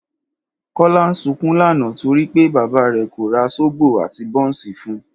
Kọ́lá sunkún lánàá torí pé bàbá rẹ̀ kò ra sóbò àti bọ́ọ̀ǹsì fun